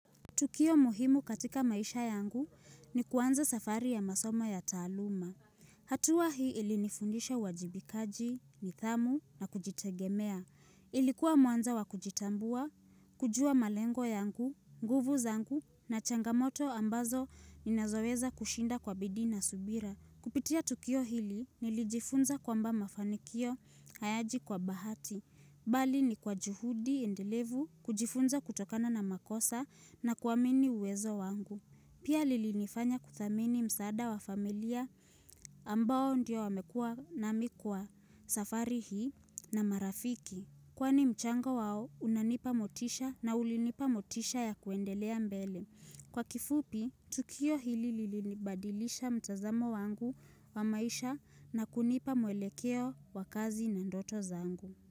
Tukio muhimu katika maisha yangu ni kuanza safari ya masoma ya taluma. Hatua hii ili nifundisha uwajibikaji, nidhamu na kujitegemea. Ilikuwa mwanzo wakujitambua, kujua malengo yangu, nguvu zangu na changamoto ambazo ni nazoweza kushinda kwa bidiii na subira. Kupitia Tukio hili nilijifunza kwa mba mafanikio hayaji kwa bahati. Bali ni kwa juhudi endelevu kujifunza kutokana na makosa na kuamini uwezo wangu. Pia lilinifanya kuthamini msaada wa familia ambao ndio wamekua na mimi kwaa safari hii na marafiki. Kwani mchango wao unanipa motisha na ulinipa motisha ya kuendelea mbele. Kwa kifupi, tukio hili lilinibadilisha mtazamo wangu wa maisha na kunipa muelekeo wakazi na ndoto zangu.